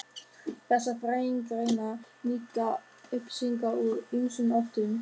Þessar fræðigreinar nýta upplýsingar úr ýmsum áttum.